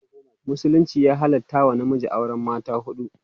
musulunci ya halatta wa namiji auran mata huɗu